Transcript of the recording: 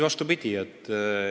Vastupidi!